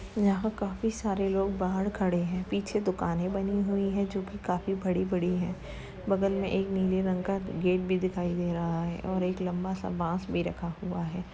यहाँ काफी सारे लोग बाहर खड़े हैं। पीछे दुकानें बनी हुई हैं जो कि काफी बड़ी बड़ी हैं। बगल में एक नीले रंग का गेट भी दिखाई दे रहा है और एक लम्बा सा बांस भी रखा हुआ है।